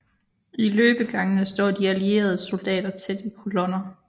I løbegangene står de allieredes soldater tæt i kolonner